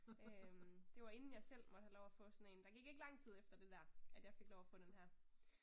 Øh det var inden jeg selv måtte have lov at få sådan en. Der gik ikke lang tid efter det der, at jeg fik lov at få den her